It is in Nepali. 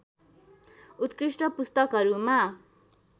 उत्कृष्ट पुस्तकहरूमा